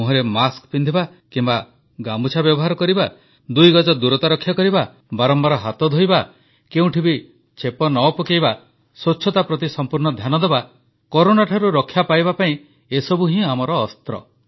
ମୁହଁରେ ମାସ୍କ ପିନ୍ଧିବା କିମ୍ବା ଗାମୁଛା ବ୍ୟବହାର କରିବା ଦୁଇଗଜ ଦୂରତା ରକ୍ଷା କରିବା ବାରମ୍ବାର ହାତ ଧୋଇବା କେଉଁଠି ବି ଛେପ ନ ପକାଇବା ସ୍ୱଚ୍ଛତା ପ୍ରତି ସମ୍ପୂର୍ଣ୍ଣ ଧ୍ୟାନ ଦେବା କରୋନାଠାରୁ ରକ୍ଷା ପାଇବା ପାଇଁ ଏସବୁ ହିଁ ଆମର ଅସ୍ତ୍ର